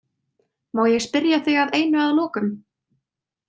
Má ég spyrja þig að einu að lokum?